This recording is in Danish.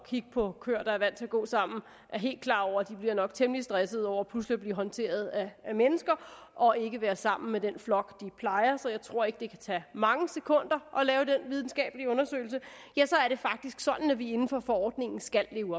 kigge på køer der er vant til at gå sammen er helt klar over at de nok bliver temmelig stressede over pludselig at blive håndteret af mennesker og ikke være sammen med den flok de plejer så jeg tror ikke det kan tage mange sekunder at lave den videnskabelige undersøgelse er det faktisk sådan at vi inden for forordningen skal leve